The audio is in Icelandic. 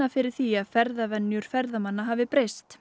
fyrir því að ferðavenjur ferðamanna hafa breyst